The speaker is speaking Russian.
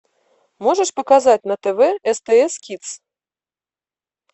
можешь показать на тв стс кидс